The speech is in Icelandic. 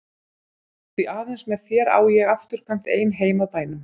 Því aðeins með þér á ég afturkvæmt ein heim að bænum.